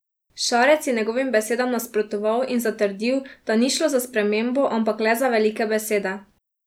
Šarec je njegovim besedam nasprotoval in zatrdil, da ni šlo za spremembo, ampak le za velike besede.